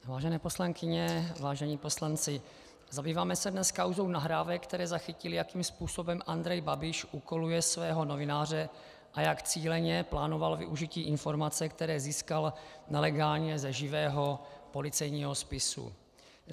Vážené poslankyně, vážení poslanci, zabýváme se dnes kauzou nahrávek, které zachytily, jakým způsobem Andrej Babiš úkoluje svého novináře a jak cíleně plánoval využití informací, které získal nelegálně ze živého policejního spisu.